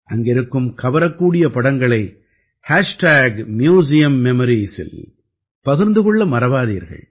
அங்கிருக்கும் கவரக்கூடிய படங்களை ஹேஷ்டேக் மியூசியம் மெமரீஸில் பகிர்ந்து கொள்ள மறவாதீர்கள்